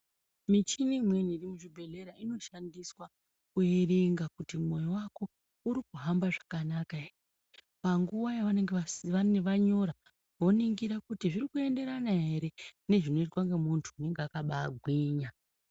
Michini imweni iri muzvibhehlera inoshandiswa kuerenga kuti mwoyo wako uri kuhamba zvakanaka ere panguwa yavanenge vanyora voningira kuti zviri kuenderana ere ngezvinoitwa ngemuntu unenge aka bagwinya.